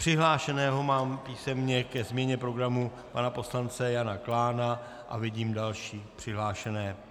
Přihlášeného mám písemně ke změně programu pana poslance Jana Klána a vidím další přihlášené.